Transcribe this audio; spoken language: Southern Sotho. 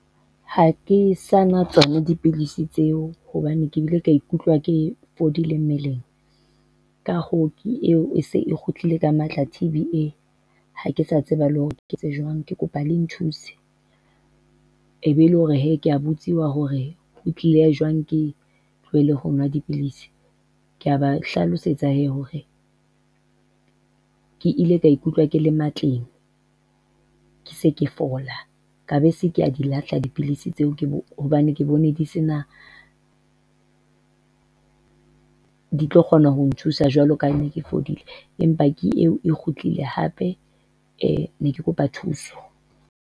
Ha ke sa na tsona dipidisi tseo hobane ke bile ke ikutlwa ke fodile mmeleng. Ka hoo ke eo e se e kgutlile ka matla T_B, ha ke sa tseba le hore ke etse jwang, ke kopa le nthuse. Ebe e le hore hee ke a botsiwa hore ho tlile jwang ke tlohele ho nwa dipidisi. Ke a ba hlalosetsa hore ke ile ka ikutlwa ke le matleng. Ke se ke fola, ka be se ke di lahla dipidisi tseo, hobane ke bone di se na di tlo kgona ho nthusa jwalo ka ha ke ne ke fodile empa ke eo e kgutlile hape. Ne ke kopa thuso.